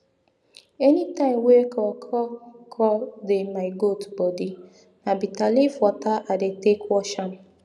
anytime wey kro kro kro dey my goat bodi na bita leaf water i dey take wash am